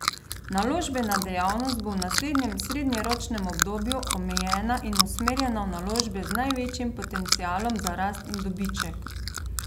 Naložbena dejavnost bo v naslednjem srednjeročnem obdobju omejena in usmerjena v naložbe z največjim potencialom za rast in dobiček.